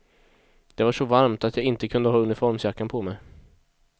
Det var så varmt att jag inte kunde ha uniformsjackan på mig.